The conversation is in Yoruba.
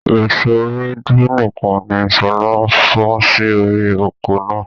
Èso Ewédú nìkan ni sọlá fọn sì orí oko náà.